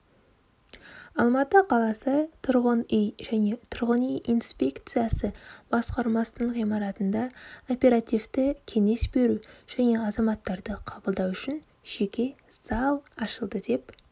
алматы қаласы тұрғын үй және тұрғын үй инспекциясы басқармасының ғимаратында оперативті кеңес беру және азаматтарды қабылдау үшін жеке зал ашылды деп